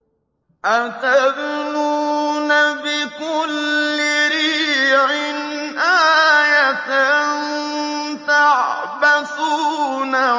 أَتَبْنُونَ بِكُلِّ رِيعٍ آيَةً تَعْبَثُونَ